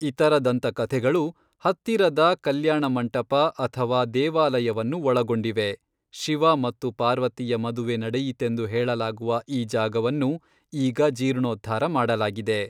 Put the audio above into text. ಇತರ ದಂತಕಥೆಗಳು ಹತ್ತಿರದ ಕಲ್ಯಾಣಮಂಟಪ ಅಥವಾ ದೇವಾಲಯವನ್ನು ಒಳಗೊಂಡಿವೆ, ಶಿವ ಮತ್ತು ಪಾರ್ವತಿಯ ಮದುವೆ ನಡೆಯಿತೆಂದು ಹೇಳಲಾಗುವ ಈ ಜಾಗವನ್ನು ಈಗ ಜೀರ್ಣೋದ್ಧಾರ ಮಾಡಲಾಗಿದೆ.